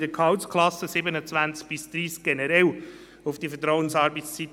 Das darf nicht beim Kader nicht berücksichtigt werden und muss in die Umsetzung eingehen.